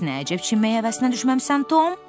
Bəs nə əcəb çimməyə həvəsinə düşməmisən, Tom?